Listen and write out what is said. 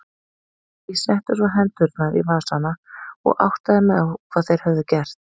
Ég setti svo hendurnar í vasana og áttaði mig á hvað þeir höfðu gert.